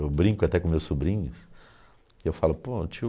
Eu brinco até com meus sobrinhos, e eu falo, pô, tio...